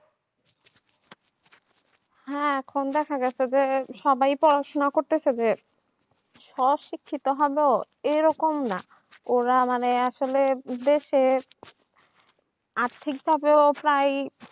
হ্যাঁ এখন দেখা যাচ্ছে যে সবাই পড়াশোনা করতেছে যে সাহসিকতা হলো এরকম না এরা মানে আসলে দেশের আর্থিকভাবে পাই